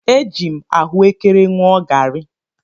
Eji m ahụekere ṅụọ garị.